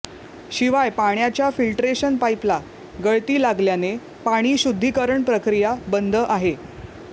शिवाय पाण्याच्या फिल्टरेशन पाईपला गळती लागल्याने पाणी शुद्धीकरण प्रक्रिया बंद आहे